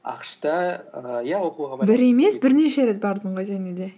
ақш та і иә бір емес бірнеше рет бардың ғой және де